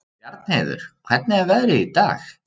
Bjarnheiður, hvernig er veðrið í dag?